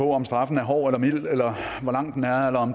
om straffen er hård eller mild eller hvor lang den er eller